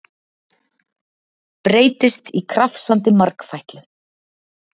Breytist í krafsandi margfætlu.